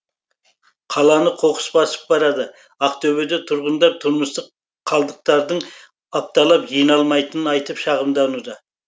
қаланы қоқыс басып барады ақтөбеде тұрғындар тұрмыстық қалдықтардың апталап жиналмайтынын айтып шағымдануда